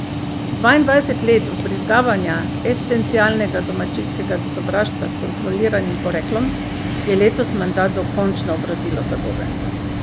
Dvaindvajset let vbrizgavanja esencialnega domačijskega sovraštva s kontroliranim poreklom je letos menda dokončno obrodilo sadove.